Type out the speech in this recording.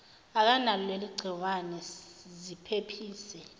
akanalo leligciwane ziphephise